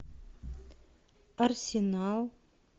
арсенал